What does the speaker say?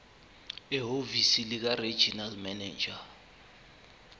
ehhovisi likaregional manager